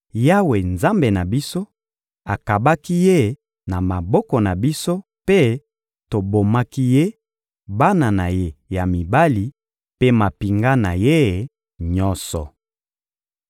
Yawe, Nzambe na biso, akabaki ye na maboko na biso mpe tobomaki ye, bana na ye ya mibali mpe mampinga na ye nyonso.